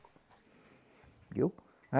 Viu?